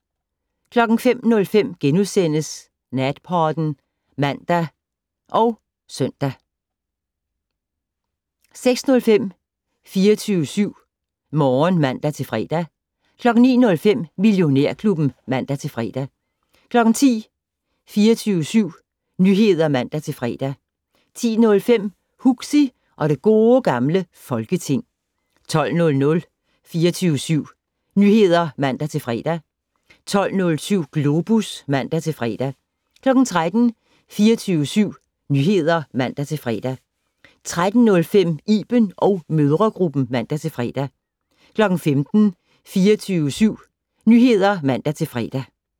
05:05: Natpodden *(man og -søn) 06:05: 24syv Morgen (man-fre) 09:05: Millionærklubben (man-fre) 10:00: 24syv Nyheder (man-fre) 10:05: Huxi og det gode gamle Folketing 12:00: 24syv Nyheder (man-fre) 12:07: Globus (man-fre) 13:00: 24syv Nyheder (man-fre) 13:05: Iben & mødregruppen (man-fre) 15:00: 24syv Nyheder (man-fre)